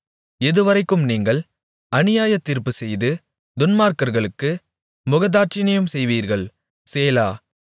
எதுவரைக்கும் நீங்கள் அநியாயத் தீர்ப்புச்செய்து துன்மார்க்கர்களுக்கு முகதாட்சிணியம் செய்வீர்கள் சேலா